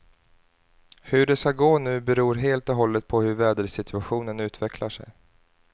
Hur det ska gå nu beror helt och hållet på hur vädersituationen utvecklar sig.